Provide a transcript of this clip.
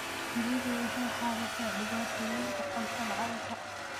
Shinnidu waxay xallisaa dhibaatooyinka cunto la'aanta.